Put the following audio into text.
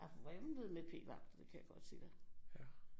Der vrimlede med p-vagter det kan jeg godt sige dig